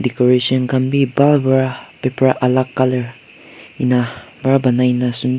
decoration khan bi bhal para paper alak colour ena para banai na sunde--